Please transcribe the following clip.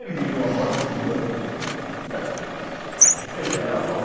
Ele viu a morte dele, ele era bom.